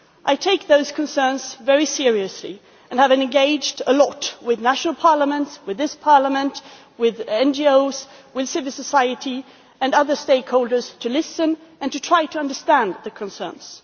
I take those concerns very seriously and have engaged a lot with national parliaments, with this Parliament, with NGOs, with civil society and other stakeholders to listen and to try to understand their concerns.